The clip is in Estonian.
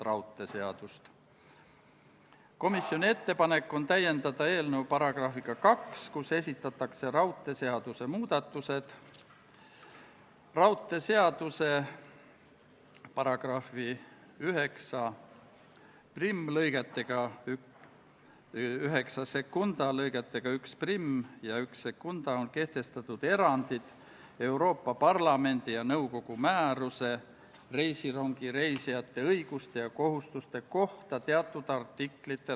Austatud Riigikogu, panen hääletusele Vabariigi Valitsuse esitatud Riigikogu otsuse "Kaitseväe kasutamise tähtaja pikendamine Eesti riigi rahvusvaheliste kohustuste täitmisel Põhja-Atlandi Lepingu Organisatsiooni missioonil Iraagis" eelnõu 65.